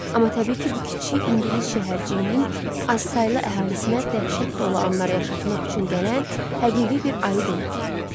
Amma təbii ki, bu kiçik ingilis şəhərciyinin azsaylı əhalisinə dəhşət dolu anlar yaşatmaq üçün gələn həqiqi bir ayı deyildi.